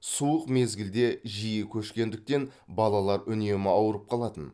суық мезгілде жиі көшкендіктен балалар үнемі ауырып қалатын